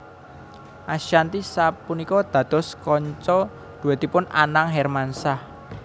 Ashanty sapunika dados kanca dhuètipun Anang Hermansyah